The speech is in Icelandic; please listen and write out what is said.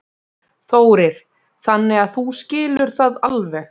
Þórir: Þannig að þú skilur það alveg?